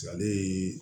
Ale